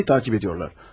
Bəli, məni təqib edirlər.